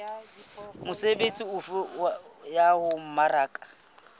mesebetsi efe ya ho mmaraka